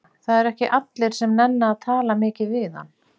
Það eru ekki allir sem nenna að tala mikið við hann.